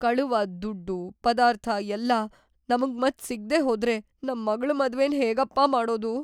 ಕಳವಾದ್‌ ದುಡ್ಡು, ಪದಾರ್ಥ ಎಲ್ಲ ನಮ್ಗ್‌ ಮತ್ತೆ ಸಿಗ್ದೇ ಹೋದ್ರೆ ನಮ್ಮಗ್ಳ್‌ ಮದ್ವೆನ್‌ ಹೇಗಪ್ಪಾ ಮಾಡೋದು?!